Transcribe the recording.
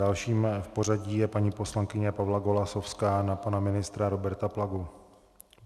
Dalším v pořadí je paní poslankyně Pavla Golasowská - na pana ministra Roberta Plagu.